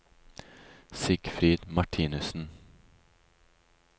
Sigfrid Martinussen